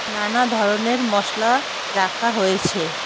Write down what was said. নানাধরনের মশলা রাখা হয়েছে।